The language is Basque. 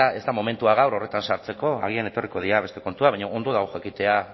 ez da momentua gaur horretan sartzeko agian etorriko dira beste kontuak baina ondo dago jakitea